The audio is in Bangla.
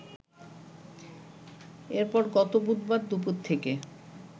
এরপর গত বুধবার দুপুর থেকে